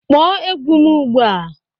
Kpọọ egwu m ugbu a!